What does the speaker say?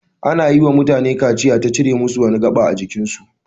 Ana yi wa matane kaciya ta cire musu wani gaɓa ajikin su.